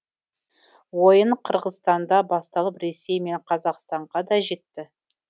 ойын қырғызстанда басталып ресей мен қазақстанға да жетті